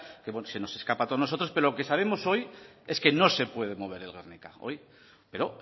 que bueno se nos escapa a todos nosotros pero lo que sabemos hoy es que no se puede mover el guernica hoy pero